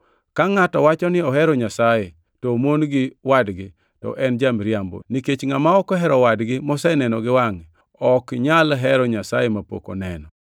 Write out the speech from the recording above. Ka ngʼato wacho ni ohero Nyasaye to omon gi wadgi to en ja-miriambo; nikech ngʼama ok ohero wadgi, moseneno gi wangʼe, ok nyal hero Nyasaye mapok oneno.